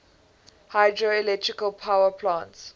hydroelectric power plants